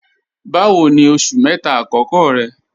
Báwò ní oṣù mẹ́ta akọkọ rẹ̀?